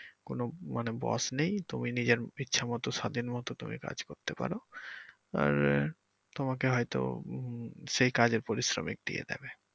কোন মানে boss নেই তুমি নিজের ইচ্ছেমতো স্বাধীনমতো তুমি কাজ করতে পারো আর তোমাকে হয়তো উম সেই কাজের পারিশ্রমিক দিয়ে দিবে।